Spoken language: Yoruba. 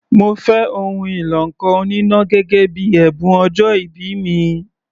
Mo fẹ́ ohun ìlọ ǹkan oníná gẹ́gẹ́ bíi ẹ̀bùn ọjọ́ìbí mi.